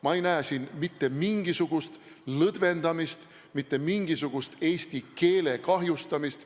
Ma ei näe siin mitte mingisugust lõdvendamist, mitte mingisugust eesti keele kahjustamist.